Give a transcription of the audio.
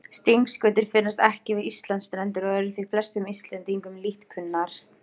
Stingskötur finnast ekki við Íslandsstrendur og eru því flestum Íslendingum lítt kunnar.